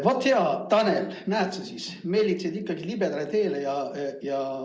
Vaat, hea Tanel, näed siis, sa meelitasid ikka libedale teele.